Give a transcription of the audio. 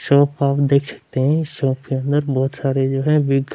shop आप देख सकते हैं शॉप के अंदर बहुत सारे जो है बिग --